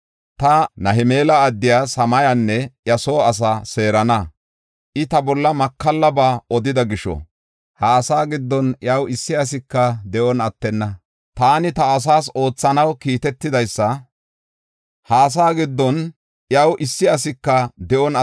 Ta Nahelama addiya Shamayanne iya soo asaa seerana. I ta bolla makallaba odida gisho ha asaa giddon iyaw issi asika de7on attenna. Taani ta asaas oothana keehatetha I be7enna” yaagees Goday.